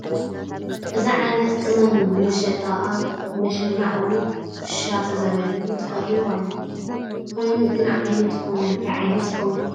እዚ ዓይነት ቕመም እዩ ፡ ንመሸጣ ኣብ መሸማዕ ወይ ድማ ክሻ ተዘጋጅዩ ተቐሪቡ ኣሎ ፡ ኮይቡ ግን ዓይነት ቕመሙ እንታይ ዓይነት ይኸውን ?